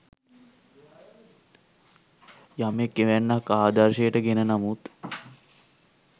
යමෙක් එවැන්නක් ආදර්ශයට ගෙන නමුත්